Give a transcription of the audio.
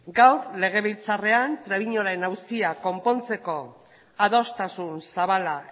gaur legebiltzarrean trebiñoren auzia konpontzeko adostasun zabala